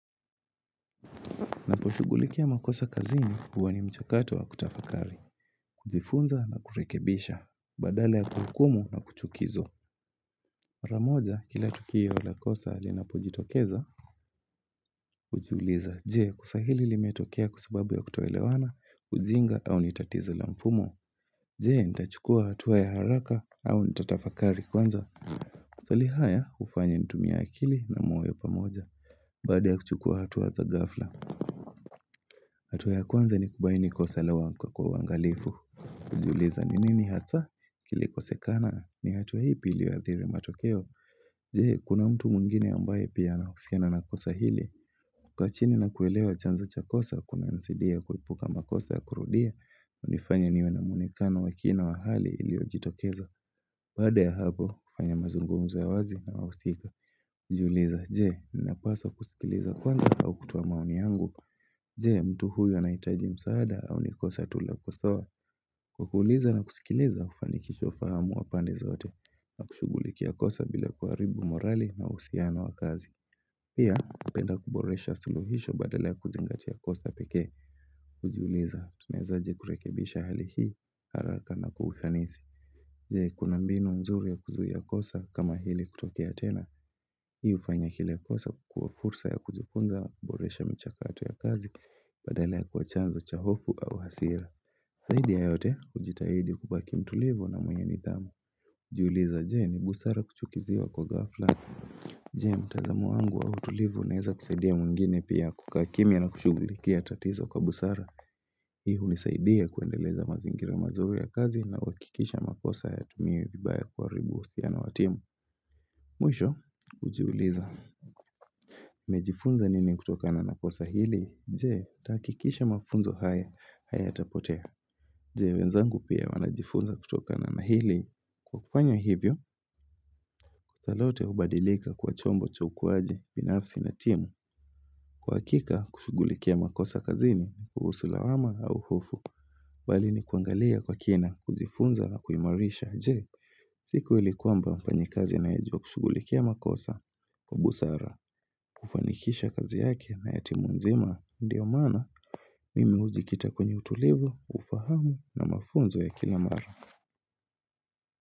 Naposhughulikia makosa kazini huwa ni mchakato wa kutafakari, kujifunza na kurekebisha, badala kuhukumu na kuchukiza. Pamoja kila tukio la kosa linapojitokeza, hujiuliza, je? Kosa hili limetokea kwa sababu ya kutoelewana? Ujinga au ni tatizo la mfumo. Je? Nitachukua hatua ya haraka au nitatafakari kwanza. Maswali haya hufanya nitumie akili na moyo pamoja, badala ya kuchukua hatua za ghafla. Hatua ya kwanza ni kubaini kosa la kwa uangalifu hujiuliza ni nini hasa kilikosekana ni hatua ipi iliyoadhiri matokeo Je kuna mtu mwingine ambaye pia anahusiana na kosa hili kukaa chini nakuelewa chanzo cha kosa kunasaidia kuepuka makosa ya kurudia hunifanya niwe na mwonekano wa kina wa hali iliyojitokeza Baada ya hapo kufanya mazungumzo ya wazi na wahusika hujiuliza je ninapaswa kusikiliza kwanza au kutoa maoni yangu je mtu huyu anahitaji msaada au ni kosa tu la kosoa. Kuuliza na kusikiliza hufanikisha ufahamu wa pande zote. Na kushughuliki kosa bila kuharibu morali na uhusiano wa kazi. Pia, napenda kuboresha suluhisho badala ya kuzingati kosa peke. Hujiuliza, tunaezaje kurekebisha hali hii haraka na kwa ufanisi. Je kuna mbinu nzuri ya kuzuia kosa kama hili kutokea tena. Hii hufanya kila kosa kukuwa fursa ya kujifunza kuboresha mchakato ya kazi badale ya kuwa chanzo cha hofu au hasira zaidi ya yote hujitahidi kubaki mtulivu na mwenye nidhamu hujiuliza je ni busara kuchukiziwa kwa ghafla Je mtazamo wangu au utulivu unaeza kusaidia mwingine pia kukaa kimya na kushughulikia tatizo kwa busara Hii hunisaidia kuendeleza mazingira mazuri ya kazi na uhakikisha makosa hayatumiwi vibaya kuharibu uhusiano wa timu Mwisho hujiuliza nimejifunza nini kutokana na kosa hili? Je, nitahakikisha mafunzo haya, hayatapotea Je, wenzangu pia wanajifunza kutokana na hili Kwa kufanya hivyo, hilo lote hubadilika kuwa chombo cha ukuwaji, binafsi na timu Kwa hakika, kushughulikia makosa kazini, kuhusu lawama au hofu Bali nikuangalia kwa kina, kujifunza na kuimarisha Je, siku ilikuwa ambao mfanyikazi anajua kushughulikia makosa kwa busara, kufanikisha kazi yake na ya timu nzima ndio maana mimi hujikita kwenye utulivu, ufahamu na mafunzo ya kila mara.